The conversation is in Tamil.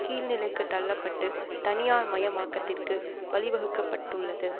கீழ்நிலைக்குத் தள்ள பட்டு தனியார் மயமாக்கத்திற்கு வழிவகுக்கப்பட்டுள்ளது